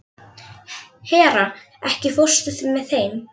Hera, ekki fórstu með þeim?